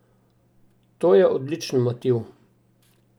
To je odličen motiv!